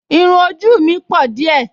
Irún ojú mi pọ̀ díẹ̀